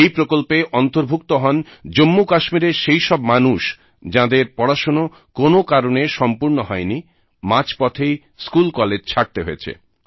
এই প্রকল্পে অন্তর্ভুক্ত হন জম্মুকাশ্মীরের সেইসব মানুষ যাদের পড়াশোনা কোন কারণে সম্পূর্ণ হয়নি মাঝপথেই স্কুলকলেজ ছাড়তে হয়েছে